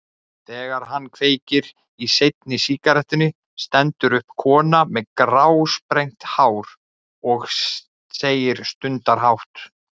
Þegar hann kveikir í seinni sígarettunni stendur upp kona með grásprengt hár og segir stundarhátt.